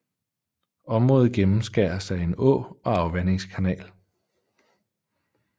Området gennemskæres af en å og afvandingskanal